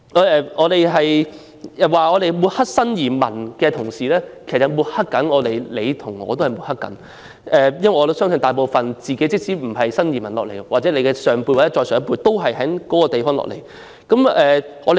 有議員指我們抹黑新移民，其實他在抹黑自己和我，因為即使他自己並非新移民，我相信他的上一輩人或再上一輩人皆是從內地來港的。